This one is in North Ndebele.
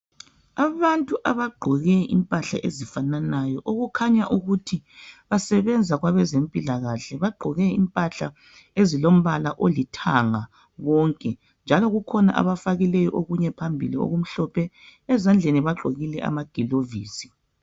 abantu abagqoke impahla ezifananayo okukhanyayo ukuthi basebenza kwezempilakahle bagqoke impahla elilompala olithanga wonke njalo kukhona abafakileyo okunye phambili okumhlophe ezandleni bagqokile amagulovisi